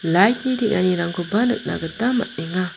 lait ni teng·anirangkoba nikna gita man·enga.